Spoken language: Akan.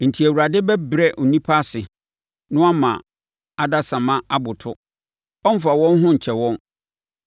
Enti, Awurade bɛbrɛ onipa ase na wama adasamma aboto. Ɔmmfa wɔn ho nkyɛ wɔn.